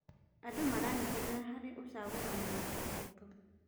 Andũ maranyitanĩra harĩ ũcagũrani wa kĩhooto.